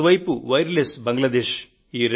అటువైపు wireless Bangladesh